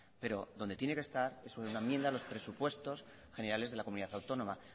pero donde tiene que estar es en una enmienda presupuestos generales de la comunidad autónoma